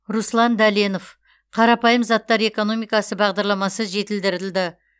руслан дәленов қарапайым заттар экономикасы бағдарламасы жетілдірілді